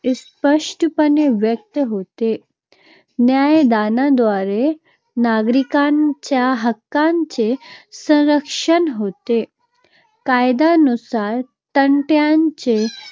स्पष्टपणे व्यक्त होते. न्यायदानाद्वारे नागरिकांच्या हक्कांचे संरक्षण होते. कायदयानुसार यांचे